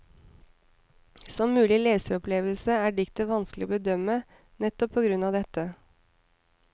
Som mulig leseropplevelse er diktet vanskelig å bedømme, nettopp på grunn av dette.